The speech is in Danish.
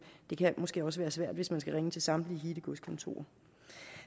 det kan måske også være svært hvis man skal ringe til samtlige hittegodskontorer